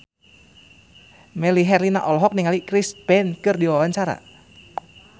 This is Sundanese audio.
Melly Herlina olohok ningali Chris Pane keur diwawancara